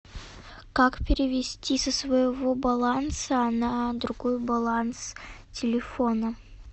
как перевести со своего баланса на другой баланс телефона